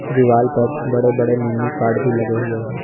दीवाल पर बड़े बड़े मेनू कार्ड भी लगे हुए हैं।